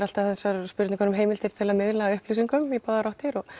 alltaf þessar spurningar um heimildir til þess að miðla upplýsingum í báðar áttir og